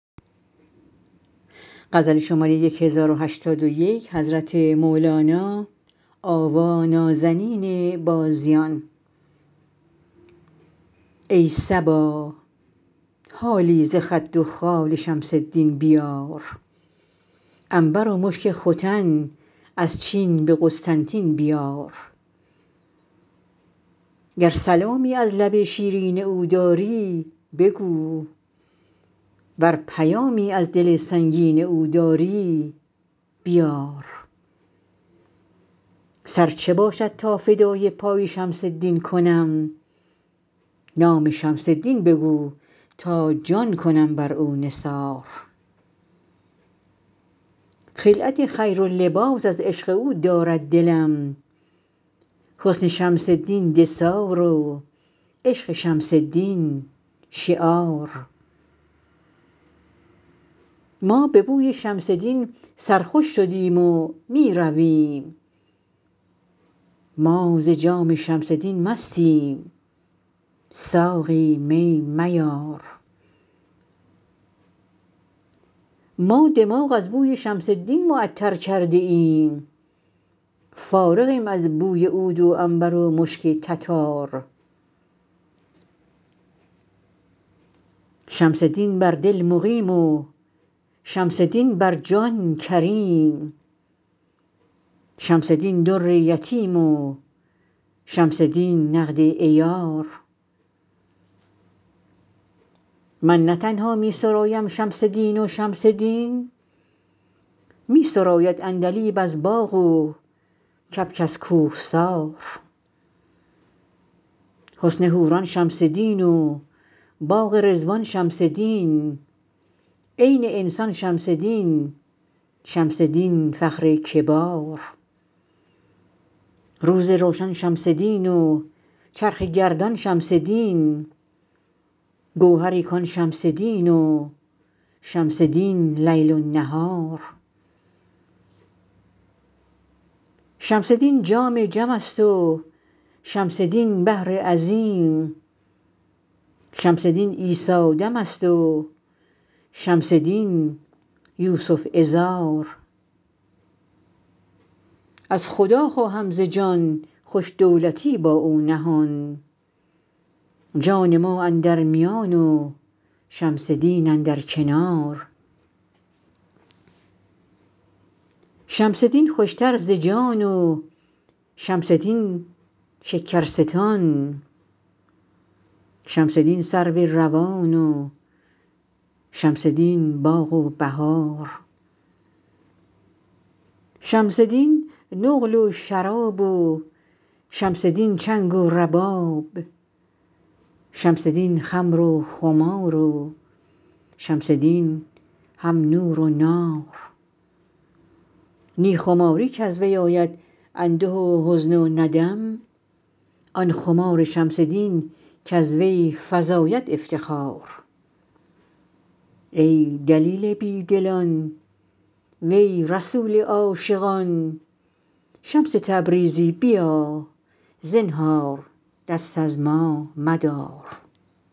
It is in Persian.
ای صبا حالی ز خد و خال شمس الدین بیار عنبر و مشک ختن از چین به قسطنطین بیار گر سلامی از لب شیرین او داری بگو ور پیامی از دل سنگین او داری بیار سر چه باشد تا فدای پای شمس الدین کنم نام شمس الدین بگو تا جان کنم بر او نثار خلعت خیر و لباس از عشق او دارد دلم حسن شمس الدین دثار و عشق شمس الدین شعار ما به بوی شمس دین سرخوش شدیم و می رویم ما ز جام شمس دین مستیم ساقی می میار ما دماغ از بوی شمس الدین معطر کرده ایم فارغیم از بوی عود و عنبر و مشک تتار شمس دین بر دل مقیم و شمس دین بر جان کریم شمس دین در یتیم و شمس دین نقد عیار من نه تنها می سرایم شمس دین و شمس دین می سراید عندلیب از باغ و کبک از کوهسار حسن حوران شمس دین و باغ رضوان شمس دین عین انسان شمس دین و شمس دین فخر کبار روز روشن شمس دین و چرخ گردان شمس دین گوهر کان شمس دین و شمس دین لیل و نهار شمس دین جام جمست و شمس دین بحر عظیم شمس دین عیسی دم است و شمس دین یوسف عذار از خدا خواهم ز جان خوش دولتی با او نهان جان ما اندر میان و شمس دین اندر کنار شمس دین خوشتر ز جان و شمس دین شکرستان شمس دین سرو روان و شمس دین باغ و بهار شمس دین نقل و شراب و شمس دین چنگ و رباب شمس دین خمر و خمار و شمس دین هم نور و نار نی خماری کز وی آید انده و حزن و ندم آن خمار شمس دین کز وی فزاید افتخار ای دلیل بی دلان و ای رسول عاشقان شمس تبریزی بیا زنهار دست از ما مدار